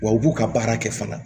Wa u b'u ka baara kɛ fana